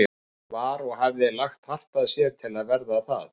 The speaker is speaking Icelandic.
Hann var- og hafði lagt hart að sér til að verða það